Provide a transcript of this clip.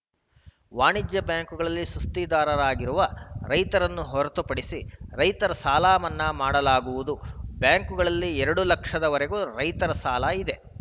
ವಾಣಿಜ್ಯ ಬ್ಯಾಂಕುಗಳಲ್ಲಿ ಸುಸ್ತಿದಾರರಾಗಿರುವ ರೈತರನ್ನು ಹೊರತುಪಡಿಸಿ ರೈತರ ಸಾಲ ಮನ್ನಾ ಮಾಡಲಾಗುವುದು ಬ್ಯಾಂಕುಗಳಲ್ಲಿ ಎರಡು ಲಕ್ಷದ ವರೆಗೆ ರೈತರ ಸಾಲ ಇದೆ